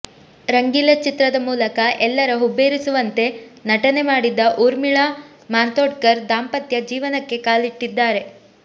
ರಂಗೀಲಾ ಚಿತ್ರದ ಮೂಲಕ ಎಲ್ಲರ ಹುಬ್ಬೇರಿಸುಂತೆ ನಟನೆ ಮಾಡಿದ್ದ ಊರ್ಮಿಳಾ ಮಾಥೊಂಡ್ಕರ್ ದಾಂಪತ್ಯ ಜೀವನಕ್ಕೆ ಕಾಲಿಟ್ಟಿದ್ದಾರೆ